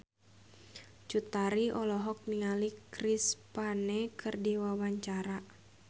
Cut Tari olohok ningali Chris Pane keur diwawancara